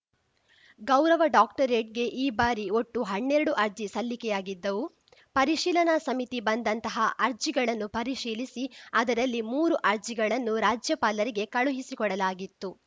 ಗೌರವ ಡಾಕ್ಟರೇಟ್‌ಗೆ ಈ ಬಾರಿ ಒಟ್ಟು ಹನ್ನೆರಡು ಅರ್ಜಿ ಸಲ್ಲಿಕೆಯಾಗಿದ್ದವು ಪರಿಶೀಲನಾ ಸಮಿತಿ ಬಂದಂತಹ ಅರ್ಜಿಗಳನ್ನು ಪರಿಶೀಲಿಸಿ ಅದರಲ್ಲಿ ಮೂರು ಅರ್ಜಿಗಳನ್ನು ರಾಜ್ಯಪಾಲರಿಗೆ ಕಳುಹಿಸಿಕೊಡಲಾಗಿತ್ತು